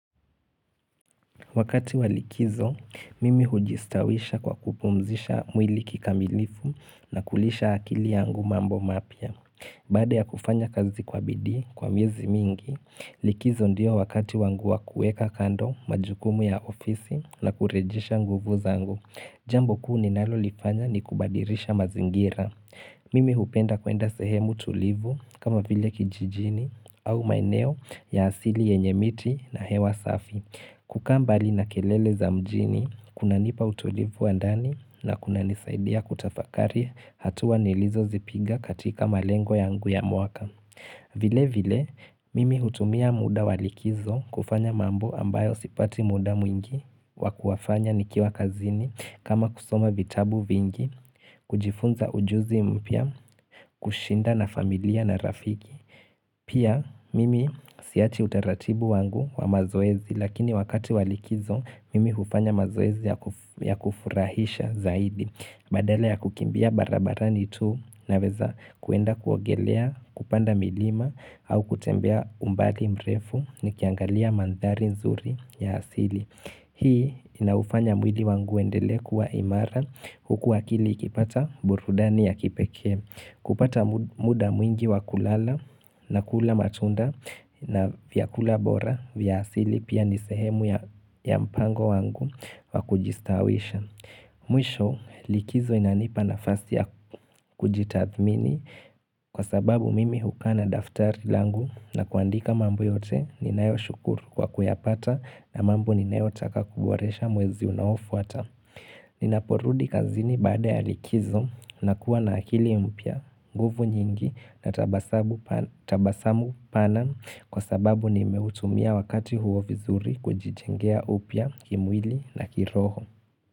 Wakati walikizo, mimi hujistawisha kwa kupumzisha mwili kikamilifu na kulisha akili yangu mambo mapya. Baada ya kufanya kazi kwa bidii, kwa miezi mingi, likizo ndio wakati wangua kueka kando majukumu ya ofisi na kurejisha nguvu zangu. Jambo kuu ninalo lifanya ni kubadilisha mazingira. Mimi hupenda kuenda sehemu tulivu kama vile kijijini au maineo ya asili yenye miti na hewa safi. Kuka mbali na kelele za mjini, kuna nipa utolivu wandani na kuna nisaidia kutafakari hatua nilizo zipiga katika malengo yangu yangu ya mwaka. Vile vile, mimi hutumia muda walikizo kufanya mambo ambayo sipati muda mwingi, wakuwafanya nikiwa kazini kama kusoma vitabu vingi, kujifunza ujuzi mpya, kushinda na familia na rafiki. Pia mimi siachi utaratibu wangu wa mazoezi lakini wakati walikizo mimi hufanya mazoezi ya kufurahisha zaidi Badala ya kukimbia barabarani tu naweza kuenda kuogelea kupanda milima au kutembea umbali mrefu ni kiangalia mandari nzuri ya asili Hii inaufanya mwili wangu uendelee kuwa imara huku akili ikipata burudani ya kipekee kupata muda mwingi wakulala na kula matunda na vya kula bora vya asili pia nisehemu ya mpango wangu wa kujistawisha. Mwisho likizo inanipa na fasi ya kujitathmini kwa sababu mimi hukana daftari langu na kuandika mambo yote ninayo shukuru kwa kuyapata na mambo ninayo taka kuboresha mwezi unaofu ata. Ni naporudi kazini baada ya likizo na kuwa na akili mpya, nguvu nyingi na tabasamu pana kwa sababu ni meutumia wakati huo vizuri kujijengea upya kimwili na kiroho.